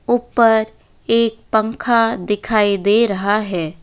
ऊपर एक पंखा दिखाई दे रहा है।